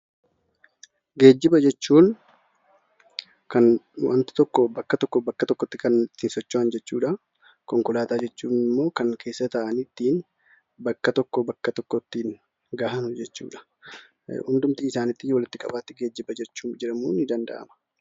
Geejjiba jechuun kan wanti tokko bakka tokkoo bakka biraatti socho'an jechuudha. Konkolaataa jechuun immoo keessa taa'anii ittiin bakka tokkoo bakka tokko ittiin gahan jechuudha.